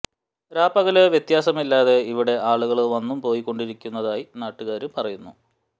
രാപ്പകല് വ്യത്യാസമില്ലാതെ ഇവിടെ ആളുകള് വന്നും പോയി കൊണ്ടിരുന്നതായി നാട്ടുകാര് പറയുന്നു